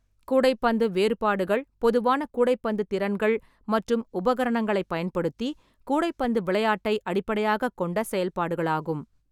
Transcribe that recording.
கூடைப்பந்து வேறுபாடுகள் பொதுவான கூடைப்பந்து திறன்கள் மற்றும் உபகரணங்களைப் பயன்படுத்தி கூடைப்பந்து விளையாட்டை அடிப்படையாகக் கொண்ட செயல்பாடுகளாகும்.